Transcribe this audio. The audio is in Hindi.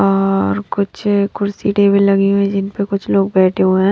और कुछ कुर्सी टेबल लगी हुई है जिन पर कुछ लोग बैठे हुए हैं।